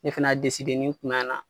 Ne fɛnɛ y'a deside ni n kun na